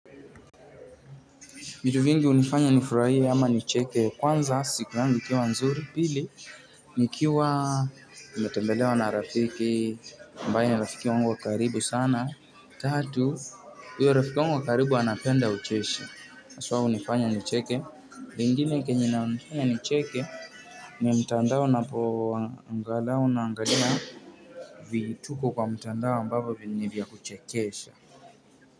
Vitu vingi vinanifanya nifurahie ama nicheke. Kwanza, siku yangu ikiwa nzuri. Pili nikiwa nimetembelewa na rafiki ambaye ni rafiki wangu wa karibu sana tatu, huyo rafiki yangu wa karibu anapenda ucheshi hasa hunifanya nicheke lingine kenye inanifanya nicheke mtandao unapo, angalau naangalia vituko kwa mtandao ambavyo ni vya kuchekesha.